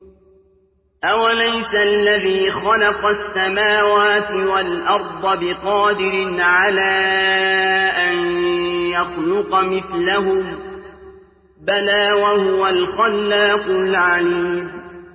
أَوَلَيْسَ الَّذِي خَلَقَ السَّمَاوَاتِ وَالْأَرْضَ بِقَادِرٍ عَلَىٰ أَن يَخْلُقَ مِثْلَهُم ۚ بَلَىٰ وَهُوَ الْخَلَّاقُ الْعَلِيمُ